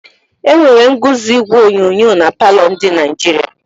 Enwere ñguzo igwe onyonyo na palọ ndi Naịjirịa.